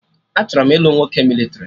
Achọrọ m ilu nwoke mịlịtrị